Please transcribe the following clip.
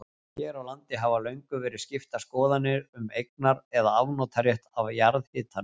Hér á landi hafa löngum verið skiptar skoðanir um eignar- eða afnotarétt af jarðhitanum.